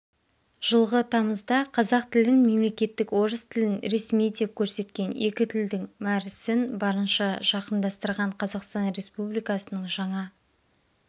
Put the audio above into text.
жылғы тамызда қазақ тілін мемлекеттік орыс тілін ресми деп көрсеткен екі тілдің мәр сін барынша жақындастырған қазақстан республикасының жаңа